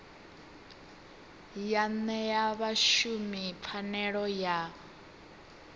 ya ṅea vhashumi pfanelo ya